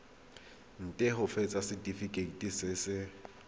nt hafatsa setefikeiti se se